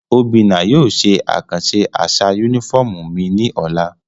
Obinna yóò ṣe akanṣe aṣa unifọmú mi ni ọla.